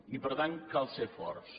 i per tant cal ser forts